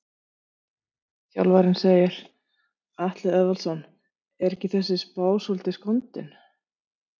Þjálfarinn segir- Atli Eðvaldsson Er þessi spá ekki svolítið skondin?